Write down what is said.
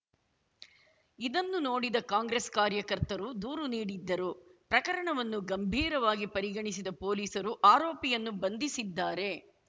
ಇದನ್ನು ನೋಡಿದ ಕಾಂಗ್ರೆಸ್‌ ಕಾರ್ಯಕರ್ತರು ದೂರು ನೀಡಿದ್ದರು ಪ್ರಕರಣವನ್ನು ಗಂಭೀರವಾಗಿ ಪರಿಗಣಿಸಿದ ಪೊಲೀಸರು ಆರೋಪಿಯನ್ನು ಬಂಧಿಸಿದ್ದಾರೆ